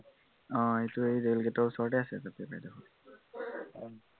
আহ সেইটো সেই ৰেল গেটৰ ওচৰতে আছে বাইদেউৰ ঘৰটো